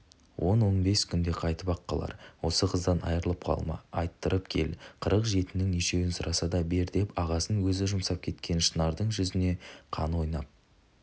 он-он бес күнде қайтып-ақ қалар осы қыздан айрылып қалма айттырып кел қырық жетінің нешеуін сұраса да бер деп ағасын өзі жұмсап кеткен шынардың жүзіне қаны ойнап